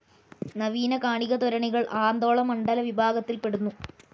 നവീന കണികാത്വരണികൾ ആന്ദോളനമണ്ഡല വിഭാഗത്തിൽ പെടുന്നു.